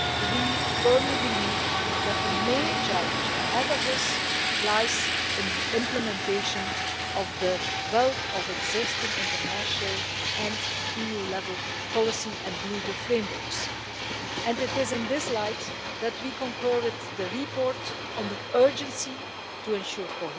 We firmly believe that the main challenge ahead of us lies in the implementation of the wealth of existing international and EU level policy and legal frameworks, and it is in this light that we concur with the report on the urgency of ensuring